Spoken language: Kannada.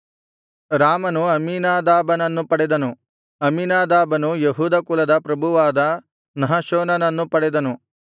ರಾಮನು ಅಮ್ಮೀನಾದಾಬನನ್ನು ಪಡೆದನು ಅಮ್ಮಿನಾದಾಬನು ಯೆಹೂದ ಕುಲದ ಪ್ರಭುವಾದ ನಹಶೋನನ್ನು ಪಡೆದನು